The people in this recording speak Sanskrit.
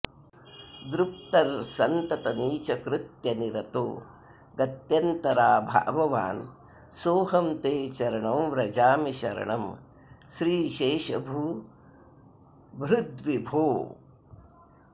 दृप्तस्सन्ततनीचकृत्यनिरतो गत्यन्तराभाववान् सोऽहं ते चरणौ व्रजामि शरणं श्रीशेषभूभृद्विभो